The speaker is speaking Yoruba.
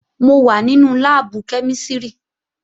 Mo wà nínú láàbù kẹ́mísìrì